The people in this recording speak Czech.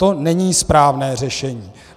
To není správné řešení.